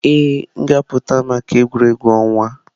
Ee, m ga-apụta maka egwuregwu ọnwa.